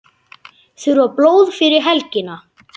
Þurfa blóð fyrir helgina